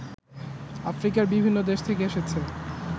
আফ্রিকার বিভিন্ন দেশ থেকে এসেছে